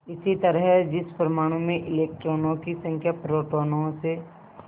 इसी तरह जिस परमाणु में इलेक्ट्रॉनों की संख्या प्रोटोनों से